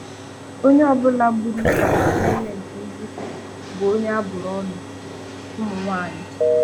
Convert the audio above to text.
Onye ọbụla gburu Fada Clement Ugwu bụ onye abụrụ ọnụ - Ụmụnwaanyị